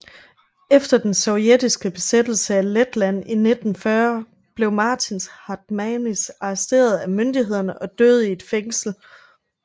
Efter den sovjetiske besættelse af Letland i 1940 blev Mārtiņš Hartmanis arresteret af myndighederne og døde i et fængsel